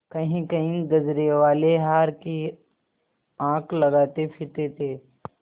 कहींकहीं गजरेवाले हार की हाँक लगाते फिरते थे